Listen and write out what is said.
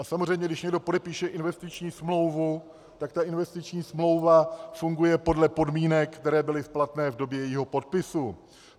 A samozřejmě když někdo podepíše investiční smlouvu, tak ta investiční smlouva funguje podle podmínek, které byly platné v době jejího podpisu.